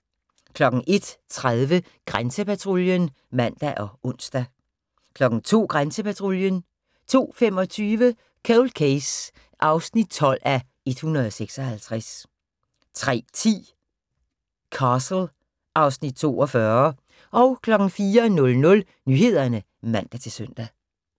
01:30: Grænsepatruljen (man og ons) 02:00: Grænsepatruljen 02:25: Cold Case (12:156) 03:10: Castle (Afs. 42) 04:00: Nyhederne (man-søn)